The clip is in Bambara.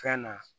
Fɛn na